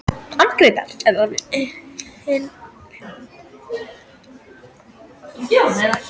Amma Gréta er alveg himinlifandi yfir þessu og ætlar að borða með okkur líka.